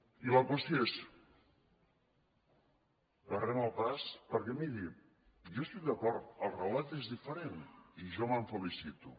i la qüestió és barrem el pas perquè miri jo hi estic d’acord el relat és diferent i jo me’n felicito